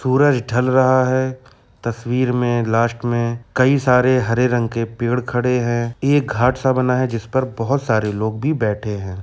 सूरज ढल रहा है तस्वीर में लास्ट में कई सारे हरे रंग के पेड़ खड़े हैं। एक घाट सा बना है जिस पर बोहोत सारे लोग भी बैठे हैं|